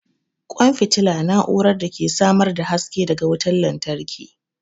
ƙwan fitila na'urar da ke samar da haske daga wutar lantarki.